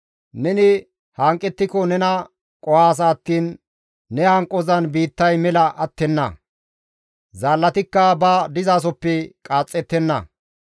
Neni hanqettiko nena qohaasa attiin ne hanqozan biittay mela attenna. Zaallatikka ba dizasoppe qaaxxettenna.